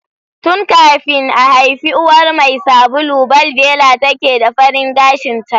Tun kafin a haifi uwar mai sabulu, balbela take da farin gashinta.